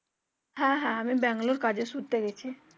হ্যাঁ হ্যাঁ, আমি ব্যাঙ্গালোর কাজের সূত্রে গেছি।